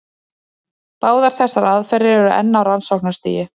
Báðar þessar aðferðir eru enn á rannsóknarstigi.